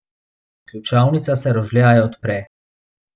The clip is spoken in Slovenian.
Ključavnica se rožljaje odpre.